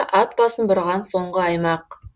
ат басын бұрған соңғы аймақ